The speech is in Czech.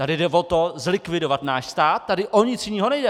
Tady jde o to, zlikvidovat náš stát, tady o nic jiného nejde!